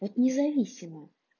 вот независимо